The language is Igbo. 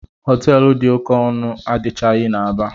Họteelụ dị oké ọnụ adịchaghị n'Aba.